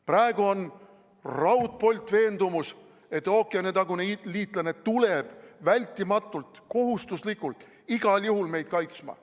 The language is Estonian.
Praegu on raudpoltveendumus, et ookeanitagune liitlane tuleb kindlasti, kohustuslikult igal juhul meid kaitsma.